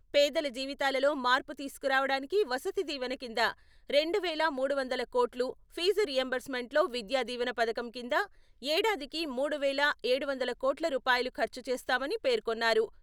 పేదల జీవితాలలో మార్పు తీసుకురావడానికి వసతి దీవెన కింద రెండు వేల మూడు వందల కోట్లు, ఫీజు రీయింబర్స్మెంట్లో విద్యా దీవెన పథకం కింద ఏడాదికి మూడు వేల ఏడు వందల కోట్ల రూపాయలు ఖర్చు చేస్తామని పేర్కొన్నారు.